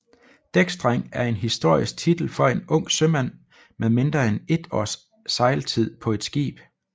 Dæksdreng er en historisk titel for en ung sømand med mindre end et års sejltid på et skib